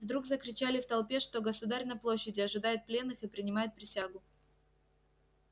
вдруг закричали в толпе что государь на площади ожидает пленных и принимает присягу